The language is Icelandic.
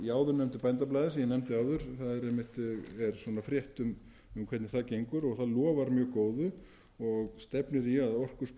áður nefndu bændablaði sem ég nefndi áður þar er frétt um hvernig það gengur og það lofar mjög góðu og stefnir í að orkusparnaður gæti hlaupið á